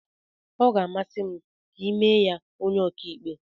Ọ ga-amasị m ka emee ya onye ọkàikpe.